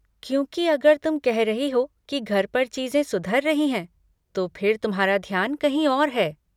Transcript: क्योंकि अगर तुम कह रही हो कि घर पर चीज़ें सुधर रही है तो फिर तुम्हारा ध्यान कहीं और है।